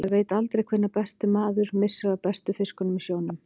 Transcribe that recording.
Maður veit aldrei hvenær maður missir af bestu fiskunum í sjónum.